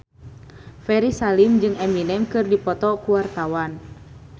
Ferry Salim jeung Eminem keur dipoto ku wartawan